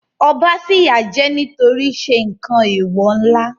Ọba fìyà jẹ nítorí ṣe nǹkan Èwò ńlá